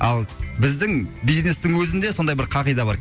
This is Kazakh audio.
ал біздің бизнестің өзінде сондай бір қағида бар